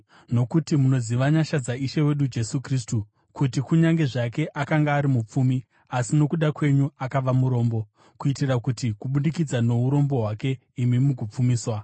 Nokuti munoziva nyasha dzaIshe wedu Jesu Kristu, kuti kunyange zvake akanga ari mupfumi, asi nokuda kwenyu akava murombo, kuitira kuti kubudikidza nourombo hwake imi mugopfumiswa.